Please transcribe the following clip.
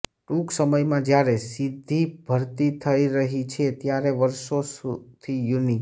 ટૂંક સમયમાં જ્યારે સીધી ભરતી થઇ રહી છે ત્યારે વર્ષોથી યુનિ